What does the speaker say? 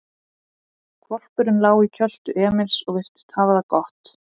Hvolpurinn lá í kjöltu Emils og virtist hafa það gott.